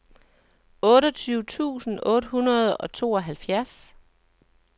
otteogtyve tusind otte hundrede og tooghalvfjerds